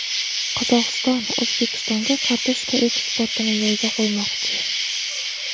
Qozog‘iston O‘zbekistonga kartoshka eksportini yo‘lga qo‘ymoqchi.